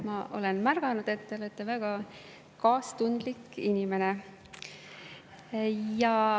Ma olen märganud, et te olete väga kaastundlik inimene.